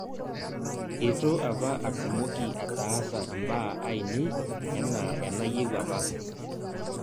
itu apa atmoki ataas imbaa ainei enaa enayieu apa